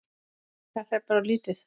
Þetta er bara of lítið.